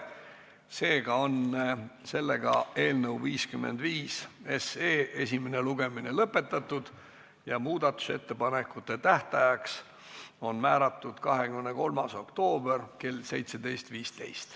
Seega on eelnõu 55 esimene lugemine lõpetatud ja muudatusettepanekute esitamise tähtajaks on määratud 23. oktoober kell 17.15.